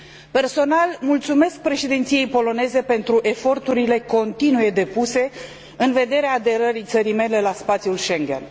Personal, mulțumesc Președinției poloneze pentru eforturile continue depuse în vederea aderării țării mele la spațiul Schengen.